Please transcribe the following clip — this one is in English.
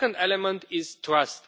The second element is trust.